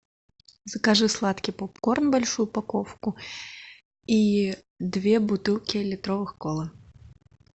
закажи сладкий попкорн большую упаковку и две бутылки литровых колы